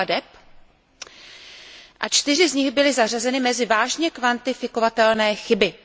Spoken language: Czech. plateb a 4 z nich byly zařazeny mezi vážně kvantifikovatelné chyby.